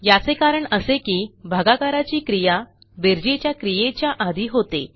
याचे कारण असे की भागाकाराची क्रिया बेरजेच्या क्रियेच्या आधी होते